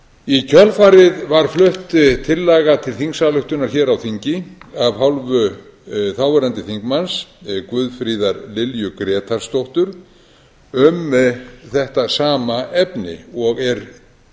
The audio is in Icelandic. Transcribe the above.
í kjölfarið var flutt tillaga til þingsályktunar hér á þingi af hálfu þáverandi þingmaður guðfríðar lilju grétarsdóttur um þetta sama efni og er